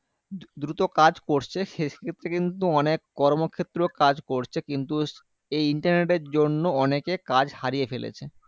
দ্রু দ্রুত কাজ করছে সেক্ষেত্রে কিন্তু অনেক কর্মক্ষেত্র কাজ করছে কিন্তু এই internet এর জন্য অনেকে কাজ হারিয়ে ফেলেছে